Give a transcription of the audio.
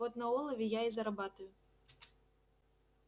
вот на олове я и заработаю